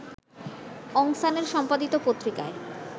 অং সানের সম্পাদিত পত্রিকায়